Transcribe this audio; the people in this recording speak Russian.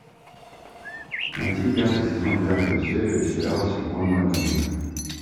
найти пятый сезон пятую серию сериала силиконовая долина